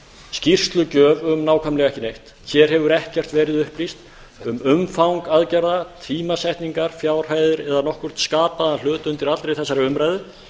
skýrslugjöf um nákvæmlega ekki neitt hér hefur ekkert verið upplýst um umfang aðgerða tímasetningar fjárhæðir eða nokkurn skapaðan hlut undir allri þessari umræðu